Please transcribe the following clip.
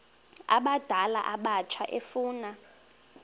abadala abatsha efuna